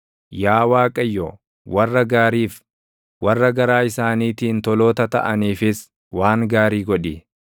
Yaa Waaqayyo, warra gaariif, warra garaa isaaniitiin toloota taʼaniifis waan gaarii godhi.